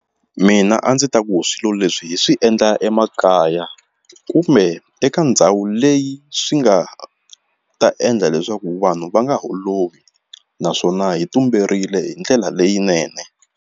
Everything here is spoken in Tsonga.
Mina a ndzi ta ku hi swilo leswi hi swi endla emakaya kumbe eka ndhawu leyi swi nga ta endla leswaku vanhu va nga holovi naswona hi tumberile hi ndlela leyinene.